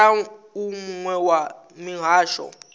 sala u muwe wa mihasho